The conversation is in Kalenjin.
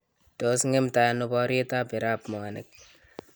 Tos ng'emtai ano boryeet ab Irab mwanik?